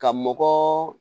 Ka mɔgɔ